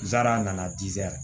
N taara a nana